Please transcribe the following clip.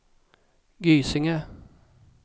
Gysinge